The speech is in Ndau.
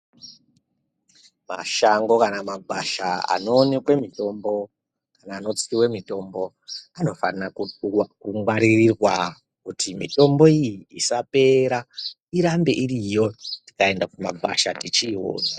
Mashango kana magwasha anowanikwa mitombo anotsiwa mitombo anofana kungwarirwa kuti mitombo iyi isapera irambe iriyo tikaenda kugwasha tichiona.